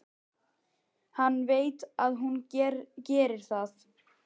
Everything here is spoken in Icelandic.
Hann veit að hún gerir það.